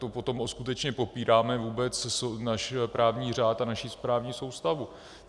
To potom skutečně popíráme vůbec náš právní řád a naši správní soustavu.